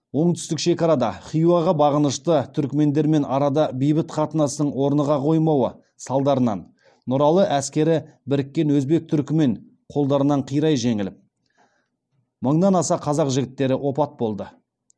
оңтүстік шекарада хиуаға бағынышты түрікмендермен арада бейбіт қатынастың орныға қоймауы салдарынан нұралы әскері біріккен өзбек түрікмен қолдарынан қирай жеңіліп мыңнан аса қазақ жігіттері опат болды